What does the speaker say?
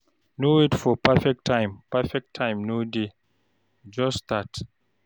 No wait for perfect time, perfect time no dey, just start.